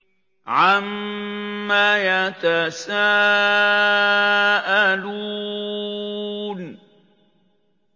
عَمَّ يَتَسَاءَلُونَ